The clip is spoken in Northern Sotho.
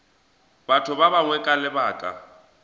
batho ba bangwe ka lebaka